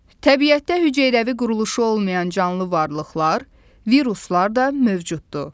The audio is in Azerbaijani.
Təbiətdə hüceyrəvi quruluşu olmayan canlı varlıqlar, viruslar da mövcuddur.